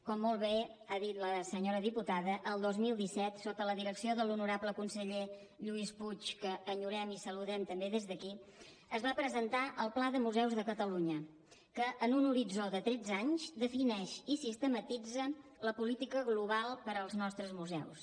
com molt bé ha dit a senyora diputada el dos mil disset sota la direcció de l’honorable conseller lluís puig que enyorem i saludem també des d’aquí es va presentar el pla de museus de catalunya que en un horitzó de tretze anys defineix i sistematitza la política global per als nostres museus